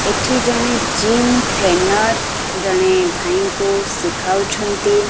ଏଠି ଜଣେ gym trainer ଜଣେ ଭାଇଙ୍କୁ ଶିଖାଉଛନ୍ତି।